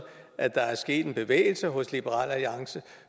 at der er sket en bevægelse hos liberal alliance